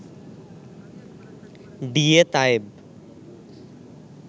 D A Tayeb